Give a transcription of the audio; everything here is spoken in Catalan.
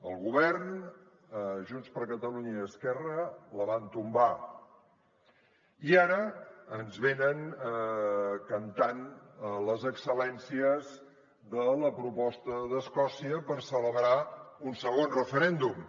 el govern junts per catalunya i esquerra la van tombar i ara ens venen cantant les excel·lències de la proposta d’escòcia per celebrar un segon referèndum